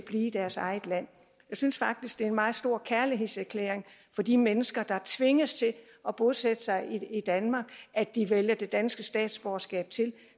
i deres eget land jeg synes faktisk det er en meget stor kærlighedserklæring fra de mennesker der tvinges til at bosætte sig i danmark at de vælger det danske statsborgerskab til